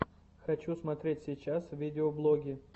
хочу смотреть сейчас видеоблоги